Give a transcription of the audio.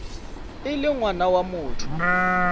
e le ngwana wa motho